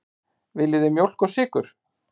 Viljið þið mjólk og sykur?